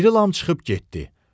İri lam çıxıb getdi.